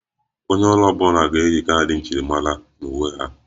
Onye ọrụ ọ bụla ga-eyi kaadị njirimara na uwe ha